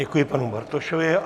Děkuji panu Bartošovi.